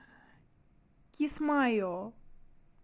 кисмайо